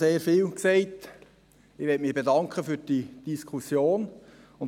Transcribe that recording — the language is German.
Ich möchte mich für diese Diskussion bedanken.